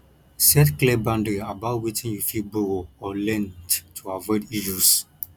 set clear boundary about wetin you fit borrow or lend to avoid issues